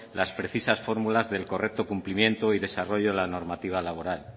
las precisas fórmulas del correcto cumplimiento y desarrollo de la normativa laboral